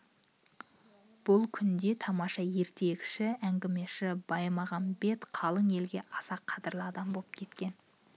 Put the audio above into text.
бұл күндерде тамаша ертегіші әңгімеші баймағамбет қалың елге аса қадірлі адам боп кеткен